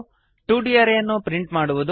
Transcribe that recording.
2ದ್ ಅರೇ ಯನ್ನು ಪ್ರಿಂಟ್ ಮಾಡುವುದು